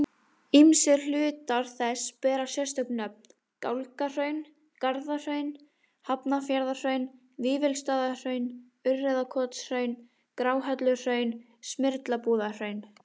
Ýmsir hlutar þess bera sérstök nöfn, Gálgahraun, Garðahraun, Hafnarfjarðarhraun, Vífilsstaðahraun, Urriðakotshraun, Gráhelluhraun, Smyrlabúðarhraun.